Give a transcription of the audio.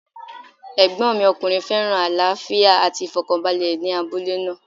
Ẹ̀gbọ́n mi ọkùnrin féràn àlàáfíà àti ìfọ̀kànbalẹ̀ ní abúlé náà.